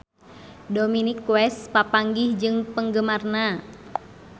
Dominic West papanggih jeung penggemarna